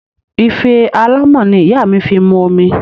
Ife alámọ̀ ni ìyá mi fi mu omi